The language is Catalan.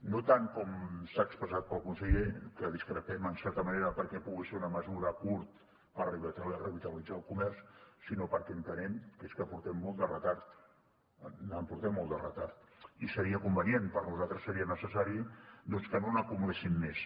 no tant com s’ha expressat pel conseller que hi discrepem en certa manera perquè pugui ser una mesura a curt per revitalitzar el comerç sinó perquè entenem que és que portem molt de retard portem molt de retard i seria convenient per nosaltres seria necessari doncs que no n’acumuléssim més